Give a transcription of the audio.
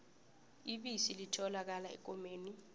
ibisi lotholakala ekomeni